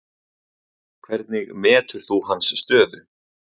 Hvernig metur þú hans stöðu?